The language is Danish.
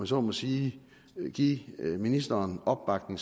så må sige give ministeren opbakning